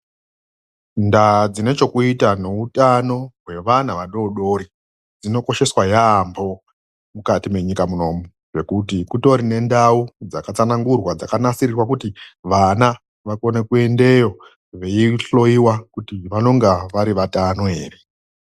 Ndaa dzinechekuita neutano, wevana vadoodori dzinokosheswa yaemho mukati menyika munomu ngekuti kutori nendau dzakatsanangurwa dzakanasirirwa kuti vana vakone kuendeyo veihloyiwa kuti vanonga vari vatano ere?